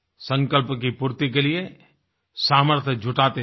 संकल्प की पूर्ति के लिए सामर्थ्य जुटाते चलें